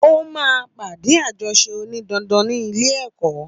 Ó máa pàdé àjọṣe òní dandan ní ilé èkọ́